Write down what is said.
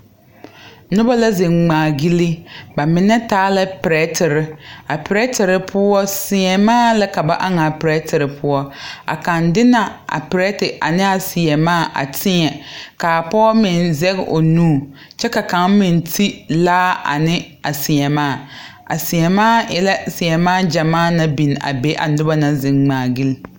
Nobɔ la zeŋ ngmaa gyile ba mine taa la pirɛtire a pirɛtire poɔ sèèmaa la ka ba aŋaa pirɛtire poɔ a kaŋ de na a pirɛte neɛa sèèmaa a tèɛ kaa pɔɔ meŋ zege o nu kyɛ ka kaŋ meŋ ti laa ane a sèèmaa a sèèmaa e la sèèmaa gyamaa na biŋ a be a nobɔ naŋ zeŋ ngmaa gyile.